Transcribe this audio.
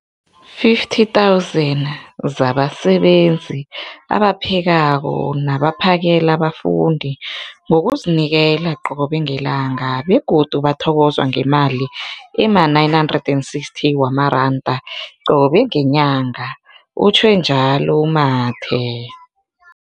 50 000 zabasebenzi abaphekako nabaphakela abafundi ngokuzinikela qobe ngelanga, begodu bathokozwa ngemali ema-960 wamaranda qobe ngenyanga, utjhwe njalo u-Mathe.